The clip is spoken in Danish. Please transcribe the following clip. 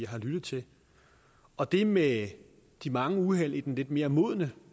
har lyttet til og det med de mange uheld i den lidt mere modne